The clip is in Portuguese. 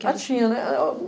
Até tinha, né. Ah o